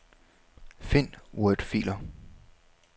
Find wordfiler.